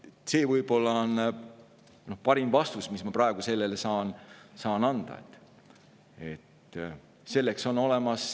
See on parim vastus, mis ma praegu saan anda.